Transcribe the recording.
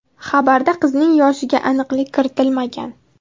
Xabarda qizning yoshiga aniqlik kiritilmagan.